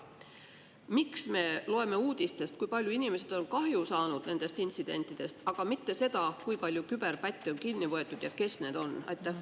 Miks me loeme uudistest, kui palju inimesed on kahju saanud nendest intsidentidest, aga mitte seda, kui palju küberpätte on kinni võetud ja kes need on?